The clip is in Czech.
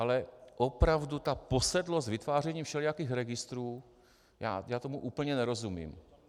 Ale opravdu ta posedlost vytvářením všelijakých registrů, já tomu úplně nerozumím.